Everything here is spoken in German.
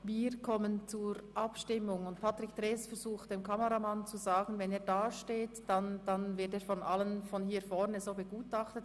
Wir kommen zur Abstimmung und der Generalsekretär, Herr Patrick Trees, versucht, dem Kameramann zu sagen, er von allen hier vorne begutachtet, wenn er dort stehe.